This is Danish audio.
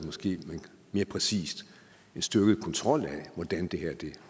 måske mere præcist en styrket kontrol af hvordan det her